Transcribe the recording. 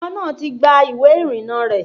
Ọmọ náà ti gba ìwé ìrìnnà rẹ̀